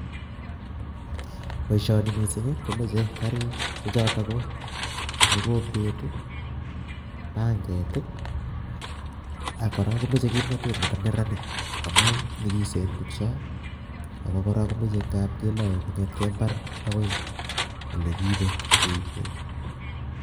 poishoni missing komache karik chechotok ko mogombet ii, pangetii, ak korok komeche kimnatet nepaneranik. amuu nyikisen tukchoo ako kora komache kelae kongetkei mbar akoi olekiipe keibee.